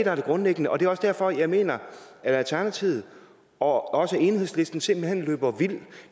er det grundlæggende og det er også derfor jeg mener at alternativet og også enhedslisten simpelt hen løber vild